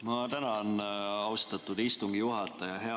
Ma tänan, austatud istungi juhataja!